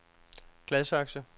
Gladsaxe